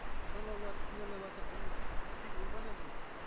ана аналарды кінәлаватыр негізі тек ол ғана емес